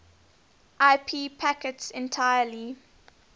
ip packets entirely